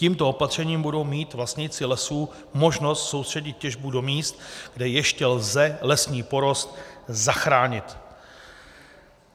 Tímto opatřením budou mít vlastníci lesů možnost soustředit těžbu do míst, kde ještě lze lesní porost zachránit.